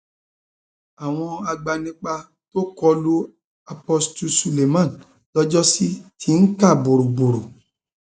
àwọn agbanipa tó kọ lu apostle suleman lọjọsí ti ń ká borọrọ